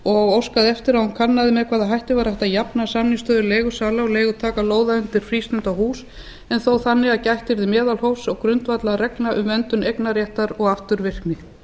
og óskaði eftir að hún kannaði með hvaða hætti væri hægt að jafna samningsstöðu leigusala og leigutaka lóða undir frístundahús en þó þannig að gætt yrði meðalhófs og grundvallarreglna um verndun eignarréttar og afturvirkni